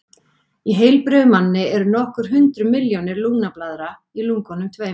Í heilbrigðum manni eru nokkur hundruð milljónir lungnablaðra í lungunum tveimur.